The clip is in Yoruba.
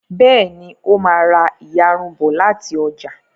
Béèni o má rá iyarun bó láti ọjà